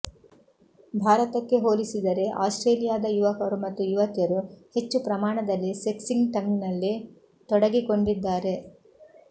ಭಾರತಕ್ಕೆ ಹೋಲಿಸಿದರೆ ಆಸ್ಟ್ರೇಲಿಯಾದ ಯುವಕರು ಮತ್ತು ಯುವತಿಯರು ಹೆಚ್ಚು ಪ್ರಮಾಣದಲ್ಲಿ ಸೆಕ್ಸ್ಟಿಂಗ್ನಲ್ಲಿ ತೊಡಗಿಕೊಂಡಿದ್ದಾರೆ